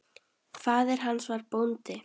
Faðir hans var bóndi.